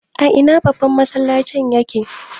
A ina babban masallacin ya ke?